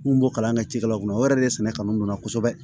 N kun b'o kalan kɛ cikɛlaw kunna o yɛrɛ de ye sɛnɛ kanu donna kosɛbɛ